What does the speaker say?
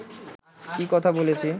কি কথা বলেছি